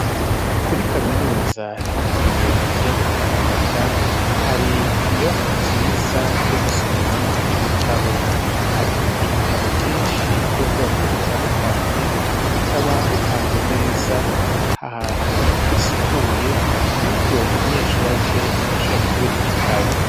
Kuri kaminuza yitiriwe ikiyaga tanganyika hari inyobakwa nziza yo gusomeramwo ibitabo hari ibitabo vyinshi vy'umubwoko butandukanye bikaba bipanze neza ahantu hasukuye ku buryo umunyeshuri aje adashobora kubura igitabo.